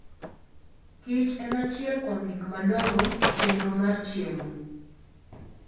Kich en achiel kuom gik madongo e chenro mar chiemo.